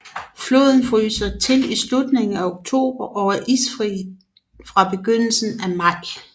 Floden fryser til i slutningen af oktober og er isfri fra begyndelsen af maj